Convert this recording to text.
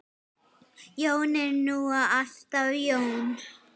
Jón er nú alltaf Jón.